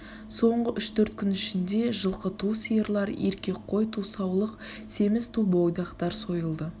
соңғы үш-төрт күн ішінде жылкы ту сиырлар еркек қой ту саулық семіз ту бойдактар сойылды